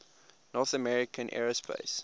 north american aerospace